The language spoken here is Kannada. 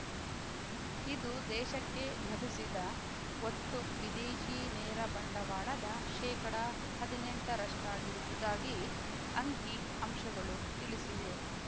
ಇದು ದೇಶಕ್ಕೆ ಲಭಿಸಿದ ಒಟ್ಟು ವಿದೇಶಿ ನೇರ ಬಂಡವಾಳದ ಶೇಕಡ ಹದಿನೆಂಟರಷ್ಟಿರುವುದಾಗಿ ಅಂಕಿಅಂಶಗಳು ತಿಳಿಸಿವೆ